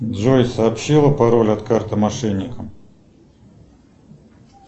джой сообщила пароль от карты мошенникам